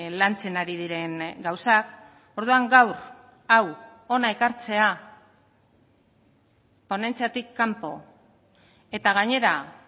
lantzen ari diren gauzak orduan gaur hau hona ekartzea ponentziatik kanpo eta gainera